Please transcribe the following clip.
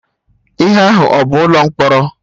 Ihe ahụ a bụ ụlọ mkpọrọ?